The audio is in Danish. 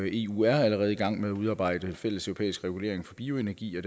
eu er allerede i gang med at udarbejde fælles europæisk regulering for bioenergi